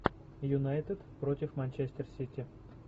юнайтед против манчестер сити